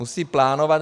Musí plánovat.